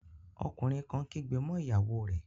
Ọkùnrin kan kígbe mọ́ ìyàwó rẹ̀